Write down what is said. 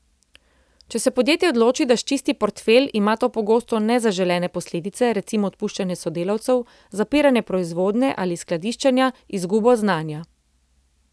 Če se podjetje odloči, da sčisti portfelj, ima to pogosto nezaželene posledice, recimo odpuščanje sodelavcev, zapiranje proizvodnje ali skladiščenja, izgubo znanja...